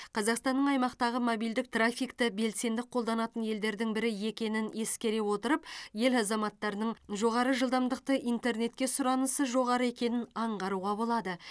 қазақстанның аймақтағы мобильдік трафикті белсенді қолданатын елдердің бірі екенін ескере отырып ел азаматтарының жоғары жылдамдықты интернетке сұранысы жоғары екенін аңғаруға болады